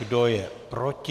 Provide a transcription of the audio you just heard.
Kdo je proti?